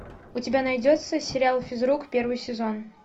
у тебя найдется сериал физрук первый сезон